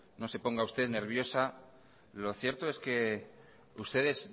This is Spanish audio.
no se ponga usted nerviosa lo cierto es que ustedes